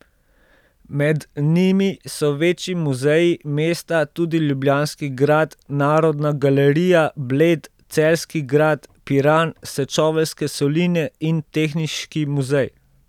Med njimi so večji muzeji, mesta, tudi Ljubljanski grad, Narodna galerija, Bled, Celjski grad, Piran, Sečoveljske soline in Tehniški muzej.